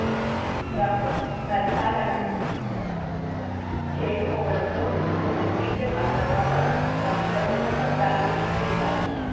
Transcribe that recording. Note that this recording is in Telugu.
ట్రంప్ కరచాలనం చేయకపోవడంతో నొచ్చుకున్న స్పీకర్ ఆ తర్వాత ట్రంప్ ప్రసంగ పత్రాలను చించేశారు